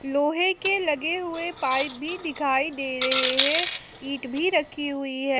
लोहे के लगे हुए पाइप भी दिखाई दे रहे हैं ईंट भी रखी हुई है।